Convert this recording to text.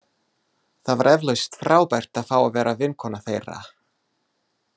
Það var eflaust frábært að fá að vera vinkona þeirra.